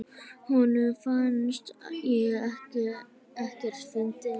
Honum fannst ég ekkert fyndin.